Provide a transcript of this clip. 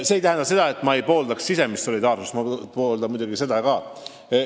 Samas ma ei saa öelda, et ma ei poolda sisemist solidaarsust, ma pooldan muidugi seda ka.